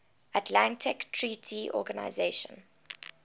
atlantic treaty organisation